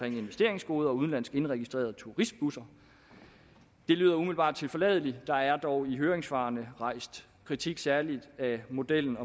investeringsgoder og udenlandsk indregistrerede turistbusser det lyder umiddelbart tilforladeligt der er dog i høringssvarene rejst kritik særlig af modellen